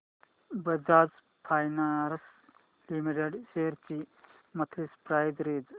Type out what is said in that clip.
Bajaj finance limited shares ची monthly price range